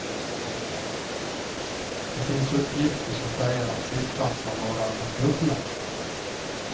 Det finns uppgifter som säger att siffran kan vara den dubbla.